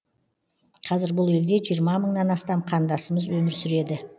қазір бұл елде жиырма мыңнан астам қандасымыз өмір сүреді